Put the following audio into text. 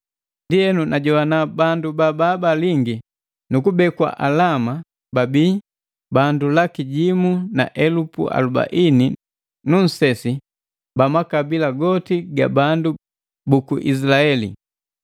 Ndienu najogwana bandu babaabalingi nukubekwa alama babi bandu laki jimu na elupu alubaini nu nsesi ba makabila goti ga bandu buku Izilaeli.